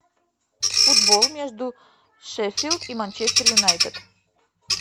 футбол между шеффилд и манчестер юнайтед